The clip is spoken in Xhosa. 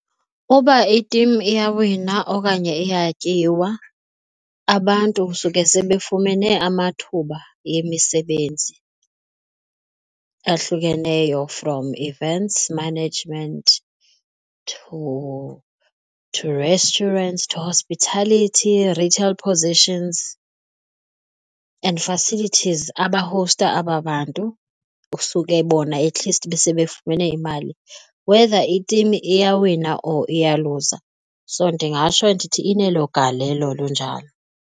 Uba itimu iyawina okanye iyatyiwa abantu kusuke sebefumene amathuba yemisebenzi ahlukeneyo from events management to restaurant to hospitality, retail positions and facilities abahowusta aba bantu usuke bona at least besebefumene imali, whether itimu iyawina or iyaluza. So ndingatsho ndithi inelo galelo lunjalo.